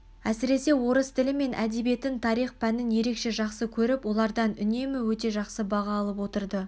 әсіресе орыс тілі мен әдебиетін тарих пәнін ерекше жақсы көріп олардан үнемі өте жақсы баға алып отырды